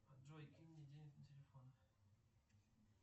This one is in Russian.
джой кинь мне денег на телефон